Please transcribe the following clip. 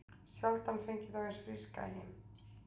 Sjaldan fengið þá eins fríska heim